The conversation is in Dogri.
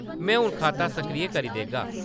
में हून खाता सक्रिय करी देगा।